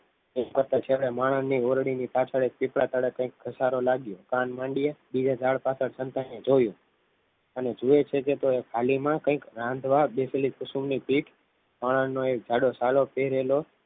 બધા ચાલે એક માણસને પીવડાની પાછળ પીપળા તળે કંઈ કથારો લાગ્યો કાન માંડી યે ઝાડ પાછળ સંતાઈને જોયું અને જોવે છે કે ટાળી માં કઈક રાધવા કુસુમ ને પીઠ અને જધો સાધો ફેરેલો